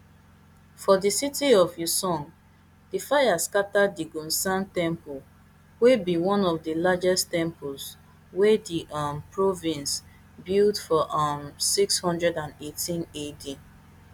for di city of uiseong di fire scata di gounsa temple wey be one of di largest temples wey di um province build for um six hundred and eighteen ad